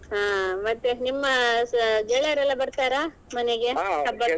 ಹಾ ಮತ್ತೆ ನಿಮ್ಮ ಗೆಳೆಯರೆಲ್ಲ ಬರ್ತಾರಾ ಮನೆಗೆ ಹಬ್ಬಕ್ಕೆ?